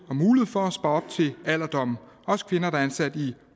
og mulighed for at spare op til alderdommen også kvinder der er ansat i